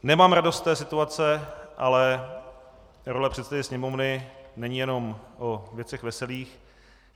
Nemám radost z té situaci, ale role předsedy Sněmovny není jenom o věcech veselých.